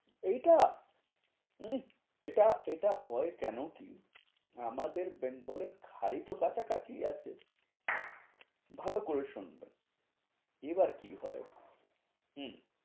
এইটা, উম এটা এটা হয় কেন কি আমাদের বেঙ্গলের খাল তো কাছা কাছি আছে। ভালো করে শুনবে এবার কি হয়, হম